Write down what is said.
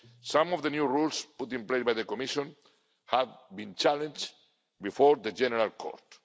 to East. Some of the new rules put in place by the Commission have been challenged before the General